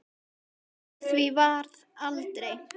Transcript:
Úr því varð aldrei.